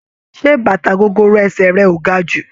Ṣé bàtà gogoro ẹsẹ̀ rẹ ò ga jù?